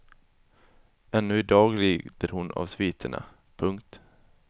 Ännu i dag lider hon av sviterna. punkt